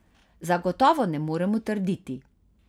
Zagotovo ne moremo trditi.